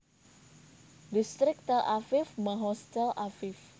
Distrik Tel Aviv Mahoz Tel Aviv